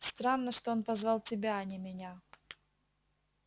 странно что он позвал тебя а не меня